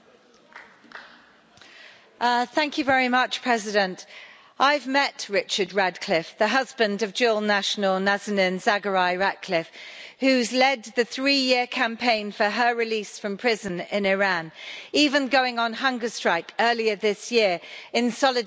Mr President, I've met Richard Ratcliffe, the husband of dual national, Nazanin Zaghari-Ratcliffe, who's led the three-year campaign for her release from prison in Iran, even going on hunger strike earlier this year in solidarity with his wrongfully incarcerated wife.